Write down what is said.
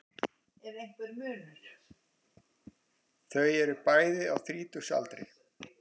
Þau eru bæði á þrítugsaldri